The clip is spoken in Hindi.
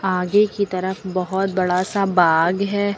आगे की तरफ बहोत बड़ा सा बाग है।